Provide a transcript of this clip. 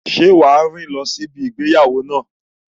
Ṣé wá rìn ẹsẹ̀ lọ sí ibi ìgbéyàwó náà?